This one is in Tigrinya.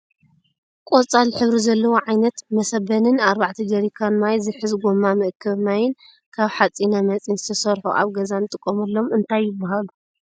ቆፃል ሕብሪ ዘለዎ ዓይነት መሰበንን ኣርባዕተ ጀሪካን ማይ ዝሕዝ ጎማ መኣከቢ ማይን ካብ ሓፂነ መፂን ዝተሰርሑ ኣብ ገዛ እንጥቀመሎም አንታይ ይብሃሉ?